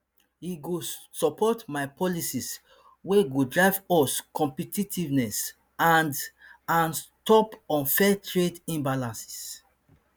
e go support my policies wey go drive us competitiveness and and stop unfair trade imbalances